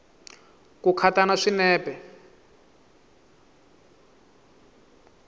ti khata na swinepe